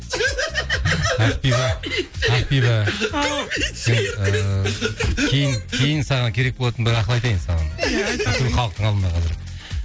ақбибі ақбибі ау сен ыыы кейін кейін саған керек болатын бір ақыл айтайын саған ия айта ғой бүкіл халықтың алдында қазір